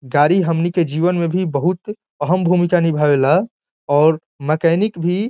गाड़ी हमनी के जीवन में भी बहुत अहम भूमिका निभावेला और मेकेनिक भी --